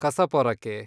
ಕಸಪೊರಕೆ